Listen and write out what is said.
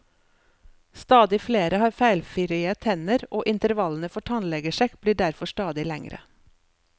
Stadig flere har feilfrie tenner, og intervallene for tannlegesjekk blir derfor stadig lengre.